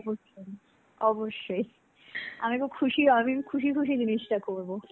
অবশ্যই অবশ্যই. আমি খুব খুশি খুশি জিনিষটা করবো.